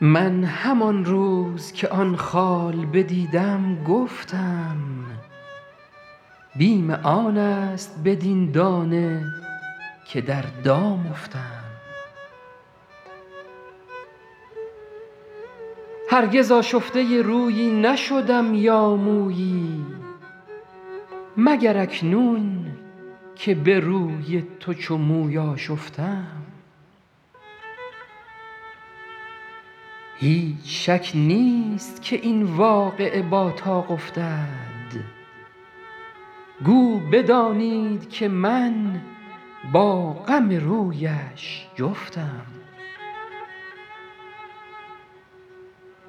من همان روز که آن خال بدیدم گفتم بیم آن است بدین دانه که در دام افتم هرگز آشفته رویی نشدم یا مویی مگر اکنون که به روی تو چو موی آشفتم هیچ شک نیست که این واقعه با طاق افتد گو بدانید که من با غم رویش جفتم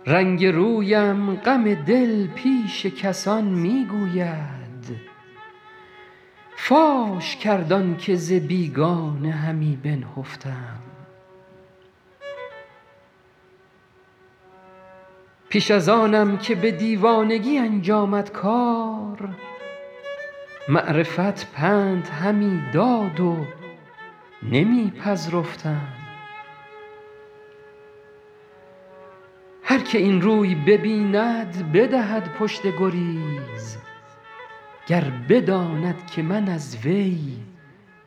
رنگ رویم غم دل پیش کسان می گوید فاش کرد آن که ز بیگانه همی بنهفتم پیش از آنم که به دیوانگی انجامد کار معرفت پند همی داد و نمی پذرفتم هر که این روی ببیند بدهد پشت گریز گر بداند که من از وی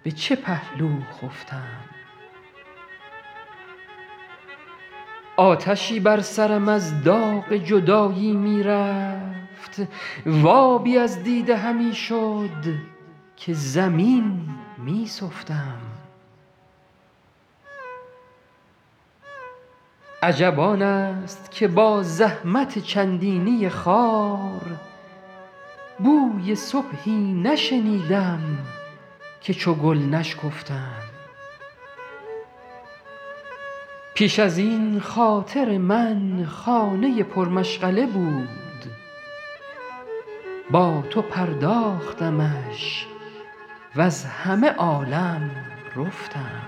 به چه پهلو خفتم آتشی بر سرم از داغ جدایی می رفت و آبی از دیده همی شد که زمین می سفتم عجب آن است که با زحمت چندینی خار بوی صبحی نشنیدم که چو گل نشکفتم پیش از این خاطر من خانه پرمشغله بود با تو پرداختمش وز همه عالم رفتم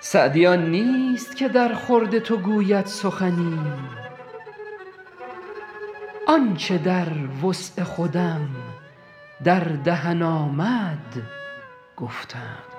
سعدی آن نیست که درخورد تو گوید سخنی آن چه در وسع خودم در دهن آمد گفتم